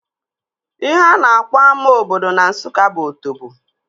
Ihe a na-akpọ ama obodo na Nsụka bụ Otobo